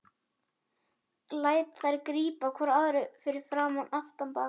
Læt þær grípa hvora um aðra fyrir aftan bak.